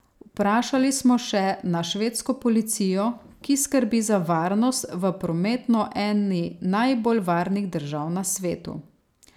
Vprašali smo še na švedsko policijo, ki skrbi za varnost v prometno eni najbolj varnih držav na svetu.